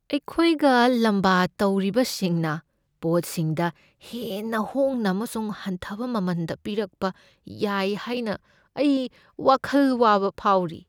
ꯑꯩꯈꯣꯏꯒ ꯂꯝꯕꯥ ꯇꯧꯔꯤꯕꯁꯤꯡꯅ ꯄꯣꯠꯁꯤꯡꯗ ꯍꯦꯟꯅ ꯍꯣꯡꯅ ꯑꯃꯁꯨꯡ ꯍꯟꯊꯕ ꯃꯃꯟꯗ ꯄꯤꯔꯛꯄ ꯌꯥꯏ ꯍꯥꯏꯅ ꯑꯩ ꯋꯥꯈꯜ ꯋꯥꯕ ꯐꯥꯎꯔꯤ ꯫